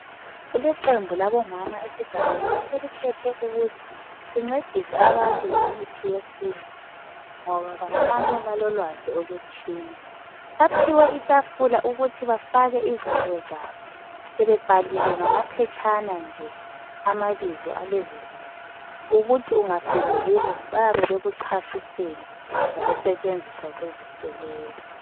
kuleqembu labomama esigabeni eselikhethe ukuthi lincedise abantu ngemithi yesintu ngoba bakhanya balolwazi oluthile baphiwe itafula ukuthi bafake izinto zabo bebebhalile ngamaphetshana nje amabizo alezizinto ukuthi ungafika kibo bebekuchasisela ngokusetshenziswa kwezinto lezi